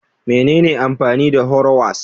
Menene amfani da harrowers?